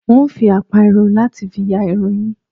N óo fi àpá irun láti fi ya irun yín